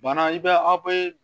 Bana i bɛ aw bɛ